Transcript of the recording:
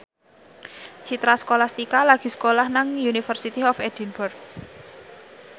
Citra Scholastika lagi sekolah nang University of Edinburgh